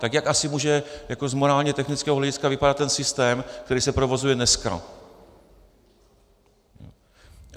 Tak jak asi může z morálně technického hlediska vypadat ten systém, který se provozuje dneska?